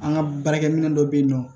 An ka baarakɛminɛ dɔ bɛ yen nɔ